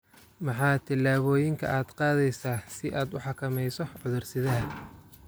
Maxaa tillaabooyinka aad qaadaysaa si aad u xakamayso cudur-sidaha?